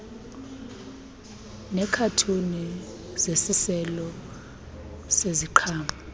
neekhathuni zesiselo seziqhamo